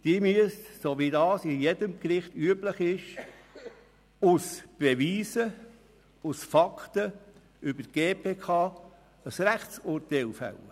Sie müssen, so wie es bei jedem Gericht üblich ist, aus Beweisen, aus Fakten über die GPK ein Rechtsurteil fällen.